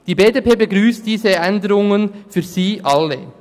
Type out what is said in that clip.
Die BDP-Fraktion begrüsst diese Änderungen für sie alle.